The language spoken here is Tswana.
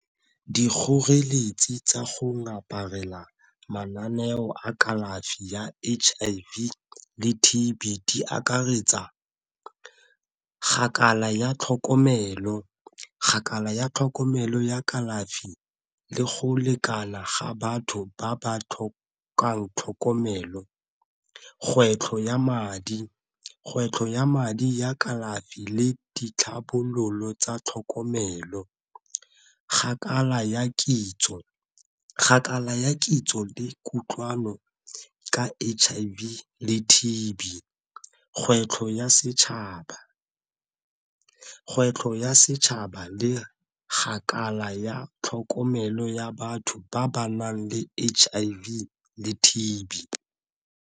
Dikgoreletsi tsa go ngaparela mananeo a kalafi ya H_I_V le T_B di akaretsa ya tlhokomelo, ya tlhokomelo ya kalafi le go lekala ga batho ba ba tlhokang tlhokomelo. Kgwetlho ya madi, kgwetlho ya madi ya kalafi le ditlhabololo tsa tlhokomelo. ya kitso, ya kitso le kutlwano ka H_I_V le T_B. Kgwetlho ya setšhaba, kgwetlho ya setšhaba le ya tlhokomelo ya batho ba ba nang le H_I_V le T_B.